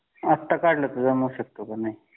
आता काढलं तर जमू शकतं का